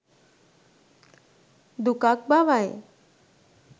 දුකක් බවයි.